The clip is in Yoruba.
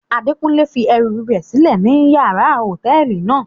Adekunle fi ẹru rẹ silẹ ninu yàrá hotẹẹli náa